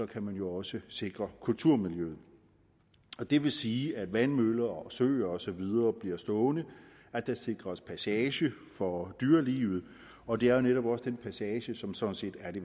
kan man jo også sikre kulturmiljøet det vil sige at vandmøller og søer og så videre bliver stående og at der sikres passage for dyrelivet og det er jo netop også den passage som sådan set er det